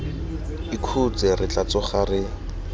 ikhutse re tla tsoga re